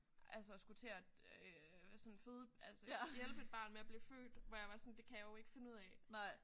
Altså skulle til at sådan føde altså hjælpe et barn med at blive født hvor jeg var sådan det kan jeg jo ikke finde ud af